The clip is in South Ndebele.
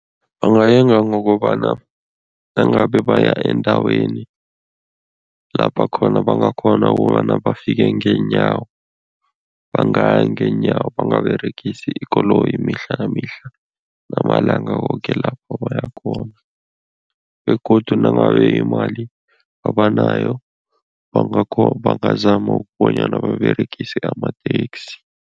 Bangayenga ngokobana nangabe baya endaweni lapha khona bangakghona ukobana bafike ngeenyawo, bangaya ngeenyawo, bangaberegisi ikoloyi mihla nemihla namalanga woke lapho bayakhona begodu nangabe imali abanayo, bangazama ukubonyana baberegise amateksi.